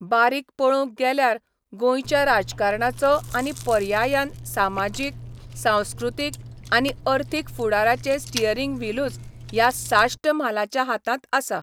बारीक पळोवंक गेल्यार गोंयच्या राजकारणाचो आनी पर्यायान सामाजीक, सांस्कृतीक आनी अर्थीक फुडाराचें स्टियरिंग व्हीलूच ह्या साश्ट म्हालाच्या हातांत आसा.